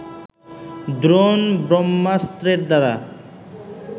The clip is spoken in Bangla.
দ্রোণ ব্রহ্মাস্ত্রের দ্বারা